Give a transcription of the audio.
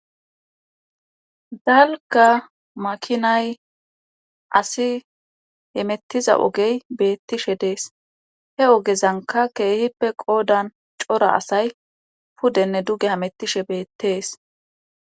dalga makinay asi hemettiza ogey beettishe dees he ogezanka keehippe qoodan cora asay pudenne duge hamettishe beettees